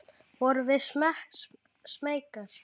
Vorum við smeykar?